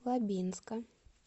лабинска